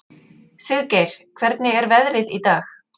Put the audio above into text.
Siggeir, hvernig er veðrið í dag?